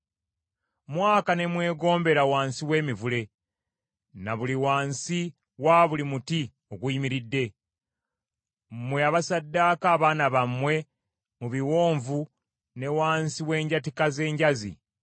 Mwaka ne mwegombera wansi w’emiti na buli wansi wa buli muti oguyimiridde; mmwe abasaddaaka abaana bammwe mu biwonvu ne wansi w’enjatika z’enjazi.